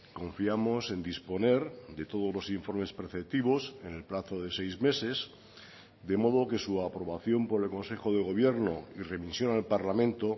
confiamos en disponer de todos los informes preceptivos en el plazo de seis meses de modo que su aprobación por el consejo de gobierno y remisión al parlamento